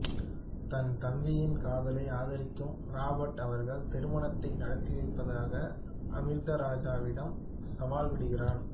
தன் தம்பியின் காதலை ஆதரிக்கும் ராபர்ட் அவர்கள் திருமணத்தை நடத்திவைப்பதாக அமிர்தராஜாவிடம் சவால்விடுகிறான்